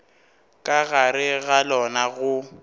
ka gare ga lona go